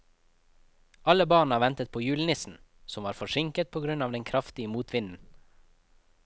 Alle barna ventet på julenissen, som var forsinket på grunn av den kraftige motvinden.